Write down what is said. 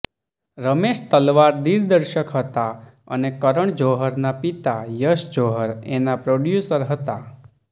રમેશ તલવાર દિગ્દર્શક હતા અને કરન જોહરના પિતા યશ જોહર એના પ્રોડયૂસર હતા